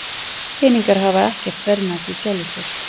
Peningar hafa ekkert verðmæti í sjálfu sér.